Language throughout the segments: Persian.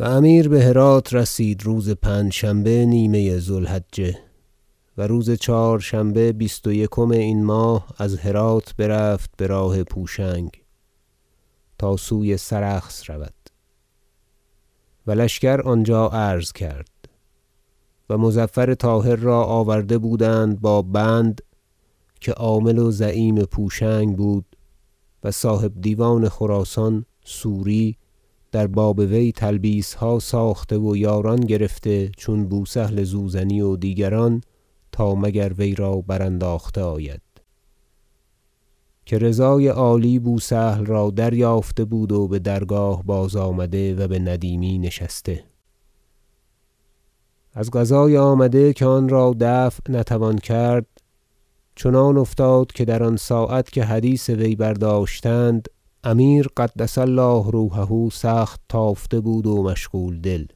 و امیر بهرات رسید روز پنجشنبه نیمه ذو الحجه و روز چهارشنبه بیست و یکم این ماه از هرات برفت براه پوشنگ تا سوی سرخس رود و لشکر آنجا عرض کرد و مظفر طاهر را آورده بودند با بند که عامل و زعیم پوشنگ بود و صاحب دیوان خراسان سوری در باب وی تلبیسها ساخته و یاران گرفته چون بوسهل زوزنی و دیگران تا مگر وی را برانداخته آید- که رضای عالی بوسهل را دریافته بود و بدرگاه بازآمده و بندیمی نشسته- از قضای آمده که آنرا دفع نتوان کرد چنان افتاد که در آن ساعت که حدیث وی برداشتند امیر قدس الله روحه سخت تافته بود و مشغول دل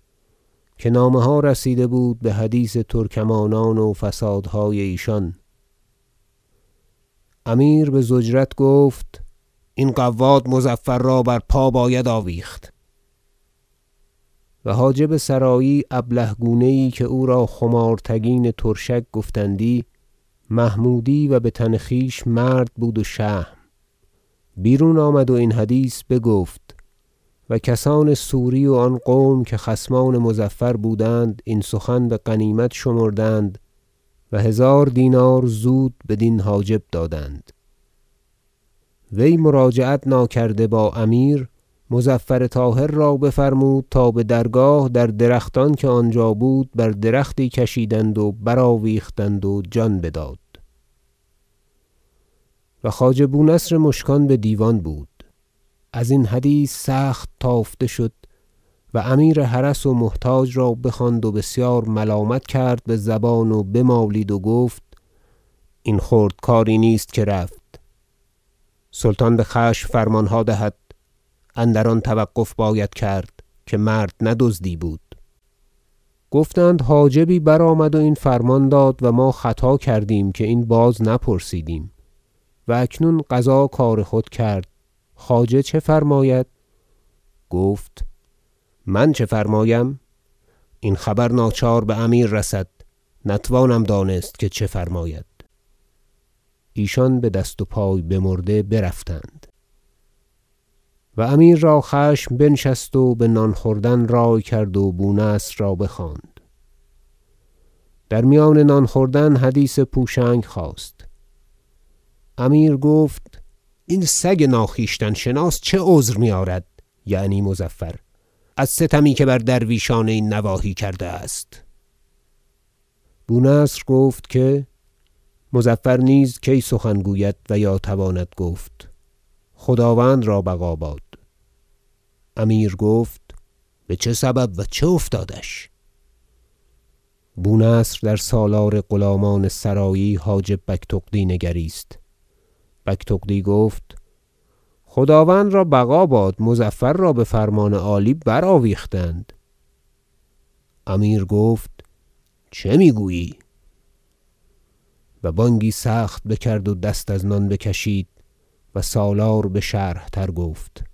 که نامه ها رسیده بود بحدیث ترکمانان و فسادهای ایشان امیر بضجرت گفت این قواد مظفر را بر پا باید آویخت و حاجب سرایی ابله گونه یی که او را خمار تگین ترشک گفتندی- محمودی و بتن خویش مرد بود و شهم - بیرون آمد و این حدیث بگفت و کسان سوری و آن قوم که خصمان مظفر بودند این سخن بغنیمت شمردند و هزار دینار زود بدین حاجب دادند وی مراجعت ناکرده با امیر مظفر طاهر را بفرمود تا بدرگاه در درختان که آنجا بود بر درختی کشیدند و برآویختند و جان بداد و خواجه بونصر مشکان بدیوان بود ازین حدیث سخت تافته شد و امیر حرس و محتاج را بخواند و بسیار ملامت کرد بزبان و بمالید و گفت این خرد کاری نیست که رفت سلطان بخشم فرمانها دهد اندر آن توقف باید کرد که مرد نه دزدی بود گفتند حاجبی برآمد و این فرمان داد و ما خطا کردیم که این را بازنپرسیدیم و اکنون قضا کار خود کرد خواجه چه فرماید گفت من چه فرمایم این خبر ناچار بامیر رسد نتوانم دانست که چه فرماید ایشان بدست و پای مرده برفتند و امیر را خشم بنشست و بنان خوردن رای کرد و بونصر را بخواند در میان نان خوردن حدیث پوشنگ خاست امیر گفت این سگ ناخویشتن شناس چه عذر میآرد- یعنی مظفر- از ستمی که بر درویشان این نواحی کرده است بونصر گفت که مظفر نیز کی سخن گوید و یا تواند گفت خداوند را بقا باد امیر گفت بچه سبب و چه افتادش بونصر در سالار غلامان سرایی حاجب بگتغدی نگریست بگتغدی گفت خداوند را بقا باد مظفر را بفرمان عالی برآویختند امیر گفت چه میگویی و بانگی سخت بکرد و دست از نان بکشید و سالار بشرح تر گفت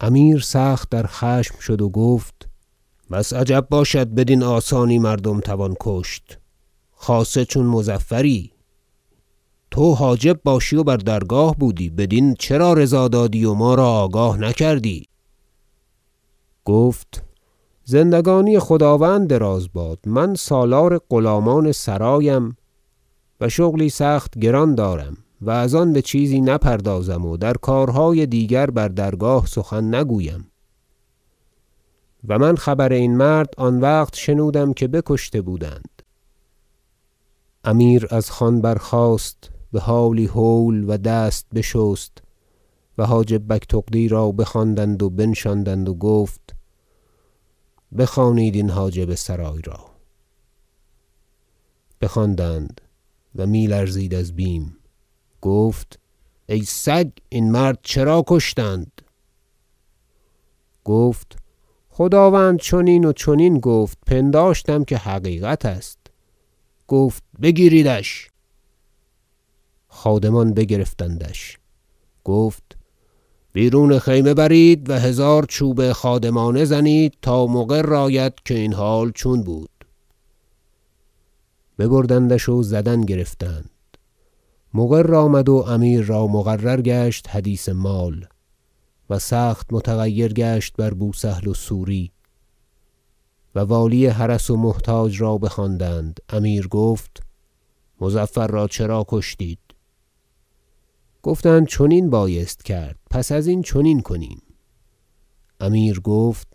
امیر سخت در خشم شد و گفت بس عجب باشد که بدین آسانی مردم توان کشت خاصه چون مظفری تو حاجب باشی و بر درگاه بودی بدین چرا رضا دادی و ما را آگاه نکردی گفت زندگانی خداوند دراز باد من سالار غلامان سرایم و شغلی سخت گران دارم و از آن بچیزی نپردازم و در کارهای دیگر بر درگاه سخن نگویم و من خبر این مرد آن وقت شنودم که بکشته بودند امیر از خوان برخاست بحالی هول و دست بشست و حاجب بگتغدی را بخواندند و بنشاندند و گفت بخوانید این حاجب سرای را بخواندند و میلرزید از بیم گفت ای سگ این مرد را چرا کشتند گفت خداوند چنین و چنین گفت پنداشتم که حقیقت است گفت بگیریدش خادمان بگرفتندش گفت بیرون خیمه برید و هزار چوب خادمانه زنید تا مقر آید که این حال چون بود ببردندش و زدن گرفتند مقر آمد و امیر را مقرر گشت حدیث مال و سخت متغیر گشت بر بوسهل و سوری و والی حرس و محتاج را بخواندند امیر گفت مظفر را چرا کشتید گفتند فرمان خداوند رسید بر زبان حاجبی گفت چرا دیگر بار بازنپرسیدید گفتند چنین بایست کرد پس ازین چنین کنیم امیر گفت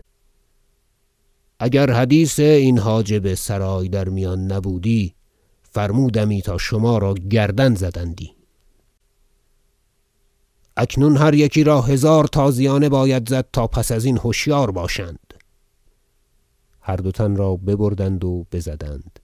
اگر حدیث این حاجب سرای در میان نبودی فرمودمی تا شما را گردن زدندی اکنون هر یکی را هزار تازیانه باید زد تا پس ازین هشیار باشند هر دو تن را ببردند و بزدند